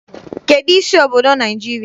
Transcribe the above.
Kedụ isi obodo Naịjirịa?